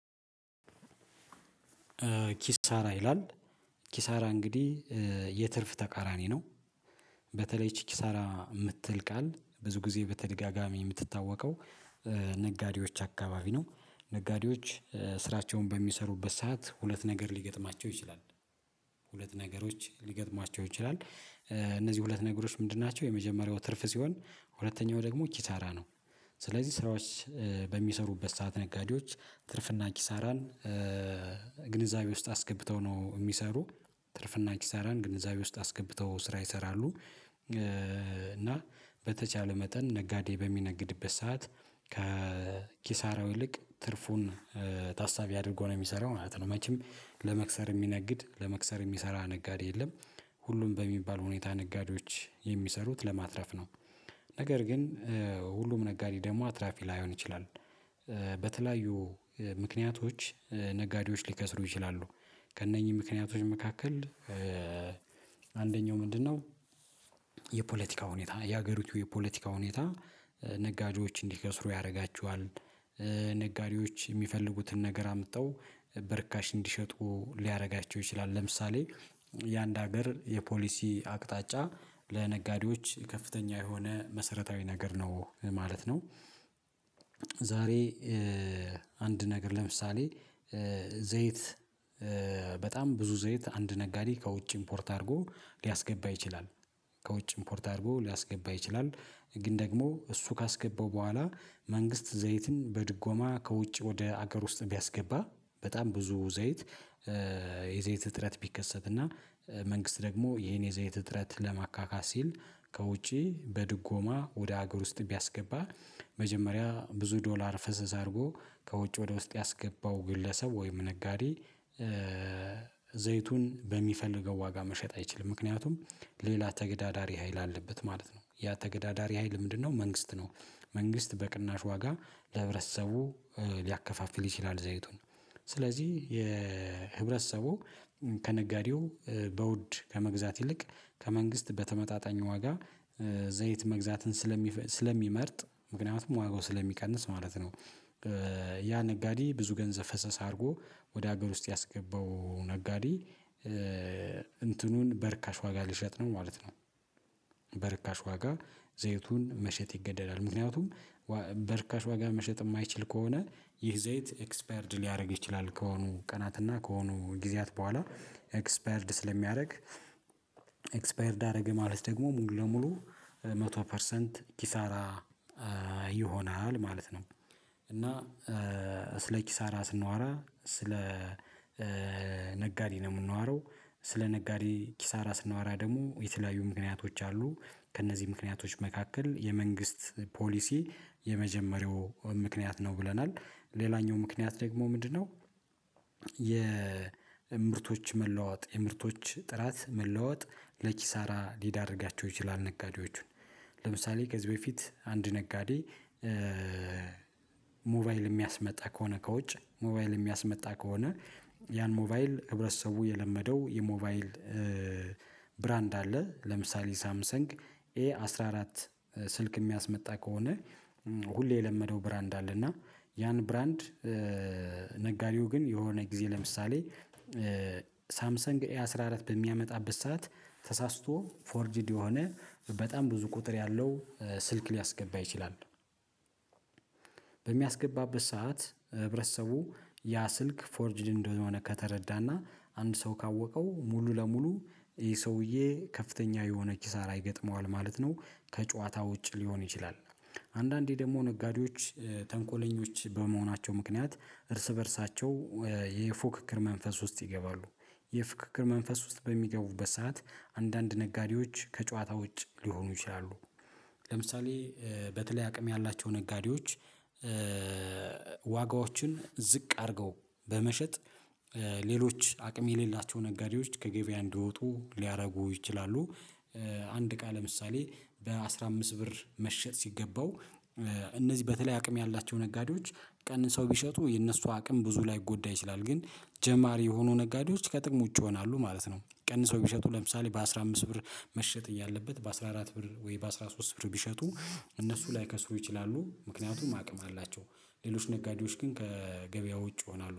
ኪሳራ ይላል ኪሳራ እንግዲህ የትርፍ ተቃራኒ ነው። በተለይ ይች ኪሳራ የምትል ቃል ብዙ ጊዜ በተደጋጋሚ የምትታወቀው ነጋዴዎች አካባቢ ነው። ነጋዴዎች ስራቸውን በሚሰሩበት ሰዓት ሁለት ነገር ሊገጥማቸው ይችላል ሁለት ነገሮች ሊገጥማቸው ይችላል። እነዚህ ሁለት ነገሮች ምንድን ናቸው? የመጀመሪያው ትርፍ ሲሆን ሁለተኛው ደግሞ ኪሳራ ነው። ስለዚህ ስራዎች በሚሰሩበት ሰዓት ነጋዴዎች ትርፍና ኪሳራን ግንዛቤ ውስጥ አስገብተው ነው የሚሰሩት ትርፍና ኪሳራን ግንዛቤ ውስጥ አስገብተው ስራ ይሰራሉ። እና በተቻለ መጠን ነጋዴ በሚነግድበት ሰዓት ከኪሳራው ይልቅ ትርፉን ታሳቢ አድርጎ ነው የሚሰራው ማለት ነው። መቼም ለመክሰር የሚነግድ ለመክሰር የሚሰራ ነጋዴ የለም። ሁሉም በሚባል ሁኔታ ነጋዴዎች የሚሰሩት ለማትረፍ ነው። ነገር ግን ሁሉም ነጋዴ ደግሞ አትራፊ ላይሆን ይችላል። በተለያዩ ምክንያቶች ነጋዴዎች ሊከስሩ ይችላሉ። ከእነኚህ ምክንያቶች መካከል አንደኛው ምንድነው? የፖለቲካ ሁኔታ የሀገሪቱ የፖለቲካ ሁኔታ ነጋዴዎች እንዲከስሩ ያደርጋቸዋል። ነጋዴዎች የሚፈልጉትን ነገር አምጥተው በርካሽ እንዲሸጡ ሊያደርጋቸው ይችላል ለምሳሌ የአንድ ሀገር የፖሊሲ አቅጣጫ ለነጋዴዎች ከፍተኛ የሆነ መሰረታዊ ነገር ነው ማለት ነው። ዛሬ አንድ ነገር ለምሳሌ ዘይት በጣም ብዙ ዘይት አንድ ነጋዴ ከውጭ ኢምፖርት አድርጎ ሊያስገባ ይችላል። ከውጭ ኢምፖርት አድርጎ ሊያስገባ ይችላል። ግን ደግሞ እሱ ካስገባው በኋላ መንግስት ዘይትን በድጎማ ከውጭ ወደ ሀገር ውስጥ ቢያስገባ በጣም ብዙ ዘይት የዘይት እጥረት ቢከሰትና መንግስት ደግሞ ይሄን የዘይት እጥረት ለማካካስ ሲል ከውጪ በድጎማ ወደ ሀገር ውስጥ ቢያስገባ መጀመሪያ ብዙ ዶላር ፍሰስ አድርጎ ከውጭ ወደ ውስጥ ያስገባው ግለሰብ ወይም ነጋዴ። ዘይቱን በሚፈልገው ዋጋ መሸጥ አይችልም ምክንያቱም ሌላ ተገዳዳሪ ሀይል አለበት ማለት ነው። ያ ተገዳዳሪ ሀይል ምንድነው? መንግስት ነው። መንግስት በቅናሽ ዋጋ ለህብረተሰቡ ሊያከፋፍል ይችላል ዘይቱን። ስለዚህ የህብረተሰቡ ከነጋዴው በውድ ከመግዛት ይልቅ ከመንግስት በተመጣጣኝ ዋጋ ዘይት መግዛትን ስለሚመርጥ ምክንያቱም ዋጋው ስለሚቀንስ ማለት ነው። ያ ነጋዴ ብዙ ገንዘብ ፍሰስ አድርጎ ወደ ሀገር ውስጥ ያስገባው ነጋዴ እንትኑን በርካሽ ዋጋ ሊሸጥ ነው ማለት ነው። በርካሽ ዋጋ ዘይቱን መሸጥ ይገደዳል ምክንያቱም በርካሽ ዋጋ መሸጥ የማይችል ከሆነ ይህ ዘይት ኤክስፓየርድ ሊያደርግ ይችላል ከሆኑ ቀናት እና ከሆኑ ጊዜያት በኋላ ኤክስፓየርድ ስለሚያደርግ። ኤክስፓየርድ አደረገ ማለት ደግሞ ሙሉ ለሙሉ መቶ ፐርሰንት ኪሳራ ይሆናል ማለት ነው። እና ስለ ኪሳራ ስናወራ ስለ ነጋዴ ነው የምናወራው ስለ ነጋዴ ኪሳራ ስናወራ ደግሞ የተለያዩ ምክንያቶች አሉ። ከእነዚህ ምክንያቶች መካከል የመንግስት ፖሊሲ የመጀመሪያው ምክንያት ነው ብለናል ሌላኛው ምክንያት ደግሞ ምንድነው? የምርቶች መለዋወጥ የምርቶች ጥራት መለዋወጥ ለኪሳራ ሊዳርጋቸው ይችላል ነጋዴዎቹን። ለምሳሌ ከዚህ በፊት አንድ ነጋዴ። ሞባይል የሚያስመጣ ከሆነ ከውጭ ሞባይል የሚያስመጣ ከሆነ። ያን ሞባይል ህብረተሰቡ የለመደው የሞባይል ብራንድ አለ ለምሳሌ ሳምሰንግ ኤ አስራ አራት ስልክ የሚያስመጣ ከሆነ። ሁሌ የለመደው ብራንድ አለ እና ያን ብራንድ ነጋዴው ግን የሆነ ጊዜ ለምሳሌ ሳምሰንግ ኤ አስራ አራት በሚያመጣበት ሰዓት ተሳስቶ ፎርጅድ የሆነ በጣም ብዙ ቁጥር ያለው ስልክ ሊያስገባ ይችላል። በሚያስገባበት ሰዓት ህብረተሰቡ ያ ስልክ ፎርጅድ እንደሆነ ከተረዳና አንድ ሰው ካወቀው ሙሉ ለሙሉ ይሄ ሰውዬ ከፍተኛ የሆነ ኪሳራ ይገጥመዋል ማለት ነው። ከጨዋታ ውጭ ሊሆን ይችላል። አንዳንዴ ደግሞ ነጋዴዎች ተንኮለኞች በመሆናቸው ምክንያት እርስ በእርሳቸው የፉክክር መንፈስ ውስጥ ይገባሉ። የፉክክር መንፈስ ውስጥ በሚገቡበት ሰዓት አንዳንድ ነጋዴዎች ከጨዋታ ውጭ ሊሆኑ ይችላሉ። ለምሳሌ በተለይ አቅም ያላቸው ነጋዴዎች። ዋጋዎችን ዝቅ አድርገው በመሸጥ ሌሎች አቅም የሌላቸው ነጋዴዎች ከገበያ እንዲወጡ ሊያደርጉ ይችላሉ። አንድ እቃ ለምሳሌ በአስራ አምስት ብር መሸጥ ሲገባው እነዚህ በተለይ አቅም ያላቸው ነጋዴዎች ቀንሰው ቢሸጡ የእነሱ አቅም ብዙ ላይጎዳ ይችላል ግን ጀማሪ የሆኑ ነጋዴዎች ከጥቅም ውጪ ይሆናሉ ማለት ነው። ቀንሰው ቢሸጡ ለምሳሌ በአስራ አምስት ብር መሸጥ እያለበት በአስራ አራት ብር ወይ በአስራ ሶስት ብር ቢሸጡ እነሱ ላይከስሩ ይችላሉ። ምክንያቱም አቅም አላቸው ሌሎች ነጋዴዎች ግን ከገበያው ውጭ ይሆናሉ